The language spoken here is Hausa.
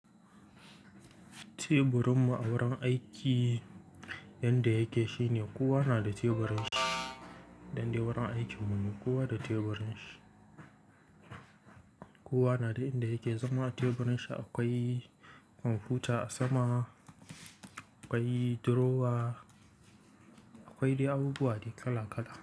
Teburin mu a wurin aiki yanda yake shine kuwa na da teburin shi indai wurin aiki mun ne kowa da teburin shi. Kuwa na da yanda yake, zama teburin shi akwai kwamfuta sama, akwai drawer, akwai dai abubuwa da kala-kala.